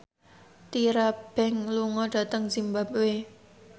Tyra Banks lunga dhateng zimbabwe